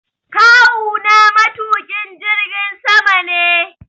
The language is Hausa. Kawu na matuƙin jirgin sama ne